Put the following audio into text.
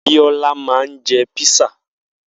Biola ma ń jẹ́ písà